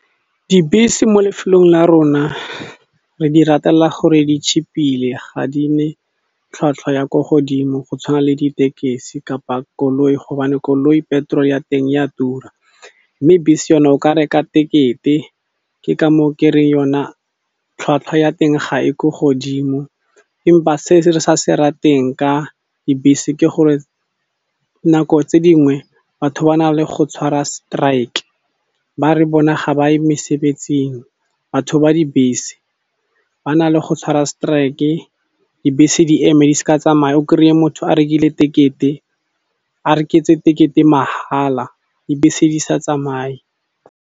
Dibese mo lefelong la rona re di ratela gore ditšhipile ga di ne tlhwatlhwa ya ko godimo go tshwana le ditekesi kapa koloi gobane koloi petrol ya teng ya tura, mme bese yona o ka reka tekete ke ka mo ke re yona tlhwatlhwa ya teng ga e ko godimo empa se re sa se rateng ka dibese ke gore nako tse dingwe batho ba na le go tshwara strike ba re bona ga ba ye mesebetsing batho ba dibese ba na le go tshwara strike dibese di eme di s'ka tsamaya o kry-e motho a rekile tekete a reketse tekete magala dibese di sa tsamaye.